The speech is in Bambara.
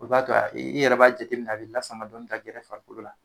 O b'a to i yɛrɛ b'a jateminɛ a bi lasama dɔɔnin ka gɛrɛ farikolo la